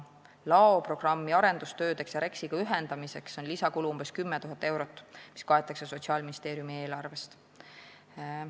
Laoprogrammi arendustööde ja REKS-iga ühendamise lisakulud on umbes 10 000 eurot, mis kaetakse Sotsiaalministeeriumi eelarvest.